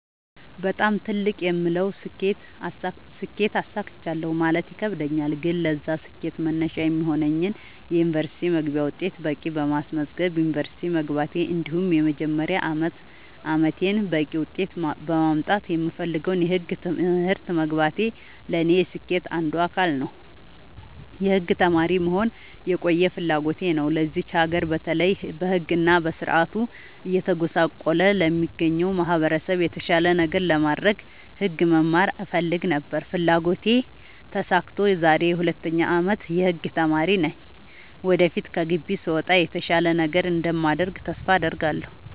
በጣም ትልቅ የምለውን ስኬት አሳክቻለሁ ማለት ይከብደኛል። ግን ለዛ ስኬት መነሻ የሚሆነኝን የ ዩኒቨርስቲ መግቢያ ውጤት በቂ በማስመዝገብ ዩንቨርስቲ መግባቴ እንዲሁም የመጀመሪያ አመቴን በቂ ውጤት በማምጣት የምፈልገውን የህግ ትምህርት መግባቴ ለኔ የስኬቴ አንዱ አካል ነው። የህግ ተማሪ መሆን የቆየ ፍላጎቴ ነው ለዚች ሀገር በተለይ በህግ እና በስርዓቱ እየተጎሳቆለ ለሚገኘው ማህበረሰብ የተሻለ ነገር ለማድረግ ህግ መማር እፈልግ ነበር ያ ፍላጎቴ ተሳክቶ ዛሬ የ 2ኛ አመት የህግ ተማሪ ነኝ ወደፊት ከግቢ ስወጣ የተሻለ ነገር እንደማደርግ ተስፋ አድርጋለሁ።